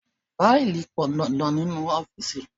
Faili pọn dandan nínú ọ́fíìsì.